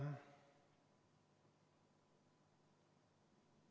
]